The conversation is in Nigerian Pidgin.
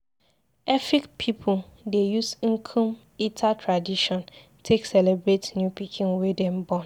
Efik pipu dey use Nkim Ita tradition take celebrate new pikin wey dem born.